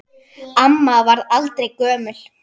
Amma varð aldrei gömul.